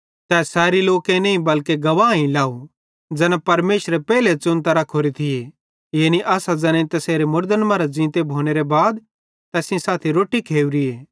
तै सैरी लोकेईं नईं बल्के गवाहैई लाव ज़ैना परमेशरे पेइले च़ुनतां रखोरे थिये यानी असां ज़ैनेईं तैसेरे मुड़दन मरां ज़ींते भोनेरां बाद तैस सेइं साथी रोट्टी खोरीए